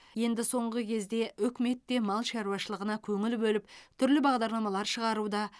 енді соңғы кезде үкімет те мал шаруашылығына көңіл бөліп түрлі бағдарламалар шығаруда